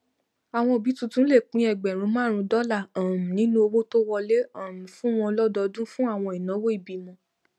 àwọn òbí tuntun lè pín ẹgbèrun márùnún dọlà um nínú owó tó wọlé um fún wọn lọdọọdún fún àwọn ináwó ìbímọ